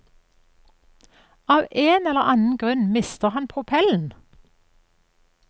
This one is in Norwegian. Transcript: Av en eller annen grunn mister han propellen.